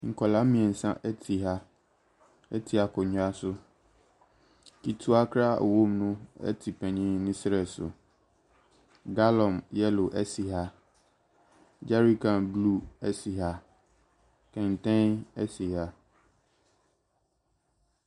Nkwadaa mmeɛnsa te ha te akonnwa so. Ketewa koraa a ɔwɔ mu no te panin no serɛ so. Gallon yellow si ha. Jerrycan blue si ha. Kɛntɛn si ha.